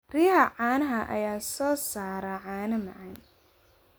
Riyaha caanaha ayaa soo saara caano macaan.